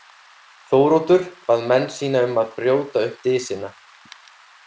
Þóroddur bað menn sína um að brjóta upp dysina.